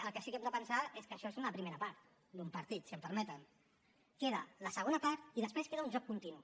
el que sí que hem de pensar és que això és una primera part d’un partit si em permeten queda la segona part i després queda un joc continu